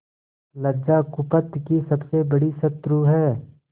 लज्जा कुपथ की सबसे बड़ी शत्रु है